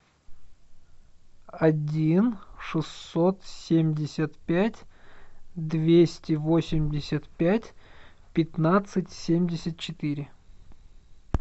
один шестьсот семьдесят пять двести восемьдесят пять пятнадцать семьдесят четыре